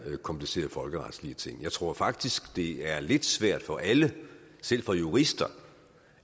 komplicerede folkeretlige ting jeg tror faktisk det af er lidt svært for alle selv for jurister